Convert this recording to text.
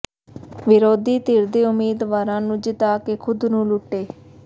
ਵਿਰੋਧੀ ਧਿਰ ਦੇ ਉਮੀਦਵਾਰਾਂ ਨੂੰ ਜਿਤਾ ਕੇ ਖ਼ੁਦ ਨੂੰ ਲੁੱਟੇ